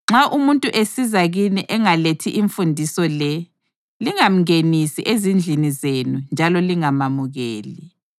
Nxa umuntu esiza kini engalethi imfundiso le, lingamngenisi ezindlini zenu njalo lingamamukeli.